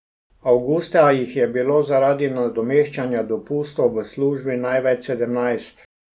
Avgusta jih je bilo zaradi nadomeščanja dopustov v službi največ, sedemnajst.